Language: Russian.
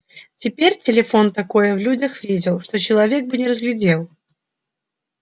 теперь телефон такое в людях видел что человек бы не разглядел